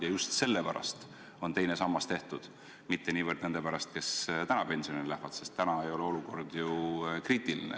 Ja just nende pärast on teine sammas tehtud, mitte niivõrd nende pärast, kes täna pensionile lähevad, sest täna ei ole olukord kriitiline.